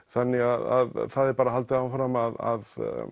þannig að það er bara haldið áfram að